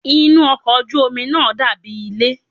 Inú ọkọ̀ ojú omi náà dàbí ilé.